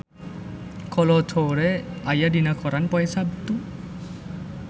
Kolo Taure aya dina koran poe Saptu